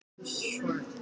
Það sama á við um Þór.